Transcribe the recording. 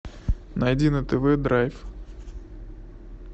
найди на тв драйв